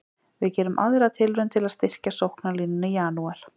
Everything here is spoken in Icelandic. Við gerum aðra tilraun til að styrkja sóknarlínuna í janúar.